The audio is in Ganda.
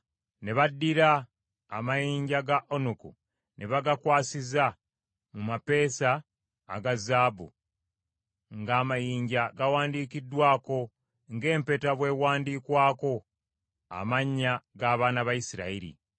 Ne baddira amayinja ga onuku ne bagakwasiza mu mapeesa aga zaabu, ng’amayinja gawandiikiddwako, ng’empeta bw’ewandiikwako, amannya g’abaana ba Isirayiri.